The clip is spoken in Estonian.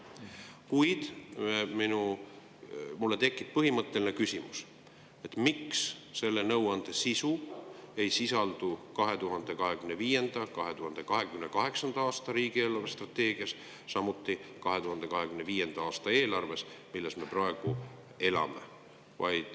Kuid mul tekib põhimõtteline küsimus, miks see nõuanne ei sisaldu 2025–2028. aasta riigi eelarvestrateegias, samuti 2025. aasta eelarves, mille järgi me praegu elame.